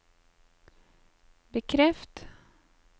bekreft